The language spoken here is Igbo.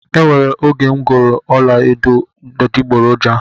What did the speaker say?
E nwere oge m goro ọla edo adiboroja